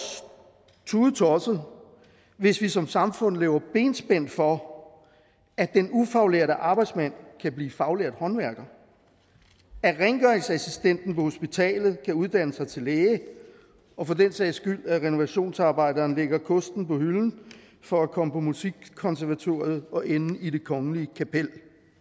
tudetosset hvis vi som samfund laver benspænd for at den ufaglærte arbejdsmand kan blive faglært håndværker at rengøringsassistenten på hospitalet kan uddanne sig til læge og for den sags skyld at renovationsarbejderen lægger kosten på hylden for at komme på musikkonservatoriet og ende i det kongelige kapel